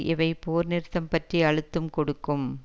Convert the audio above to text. இவை போர் நிறுத்தம் பற்றி அழுத்தும் கொடுக்கும்